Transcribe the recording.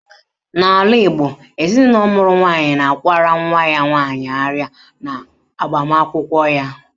N'ala Igbo, ezinụlọ mụrụ nwaanyị na-akwara nwa ya nwaanyị arịa n'agbamụnkwụ ya